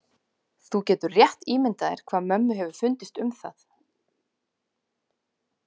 Þú getur rétt ímyndað þér hvað mömmu hefur fundist um það.